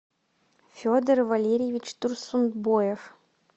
федор валерьевич турсунбоев